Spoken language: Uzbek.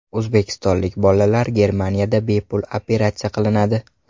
O‘zbekistonlik bolalar Germaniyada bepul operatsiya qilinadi.